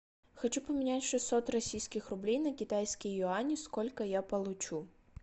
хочу поменять шестьсот российских рублей на китайские юани сколько я получу